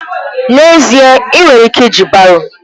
N'ezie èè! ị nwere ike iji baro.